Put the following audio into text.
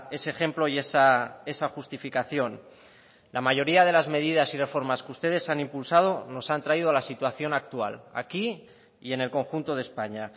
ese ejemplo y esa justificación la mayoría de las medidas y reformas que ustedes han impulsado nos han traído la situación actual aquí y en el conjunto de españa